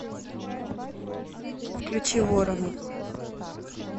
включи ворона